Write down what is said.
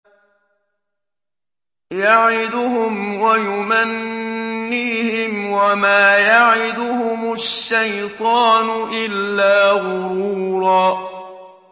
يَعِدُهُمْ وَيُمَنِّيهِمْ ۖ وَمَا يَعِدُهُمُ الشَّيْطَانُ إِلَّا غُرُورًا